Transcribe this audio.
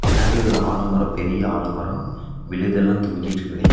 பின்னாடி ஒரு ஆலமரோ பெரிய ஆலமரோ விழுதெல்லா தொங்கிட்டுருக்குதே.